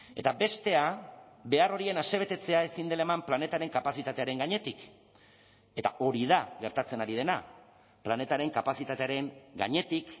eta bestea behar horien asebetetzea ezin dela eman planetaren kapazitatearen gainetik eta hori da gertatzen ari dena planetaren kapazitatearen gainetik